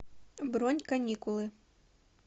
бронь каникулы